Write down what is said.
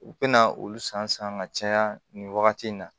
U bɛna olu san san ka caya nin wagati in na